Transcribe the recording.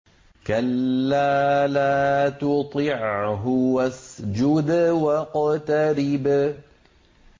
كَلَّا لَا تُطِعْهُ وَاسْجُدْ وَاقْتَرِب ۩